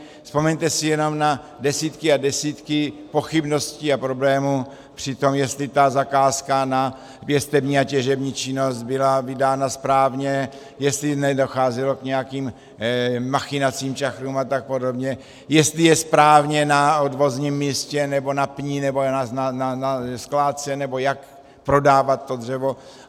Vzpomeňte si jenom na desítky a desítky pochybností a problémů při tom, jestli ta zakázka na pěstební a těžební činnost byla vydána správně, jestli nedocházelo k nějakým machinacím, čachrům a tak podobě, jestli je správně na odvozním místě, nebo na pni, nebo na skládce, nebo jak prodávat to dřevo.